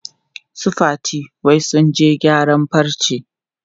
Su Fati wai sun je gyaran farce.